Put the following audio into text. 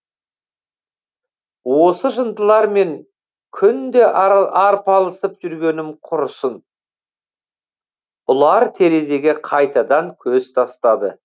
осы жындылармен күнде арпалысып жүргенім құрысың ұлар терезеге қайтадан көз тастады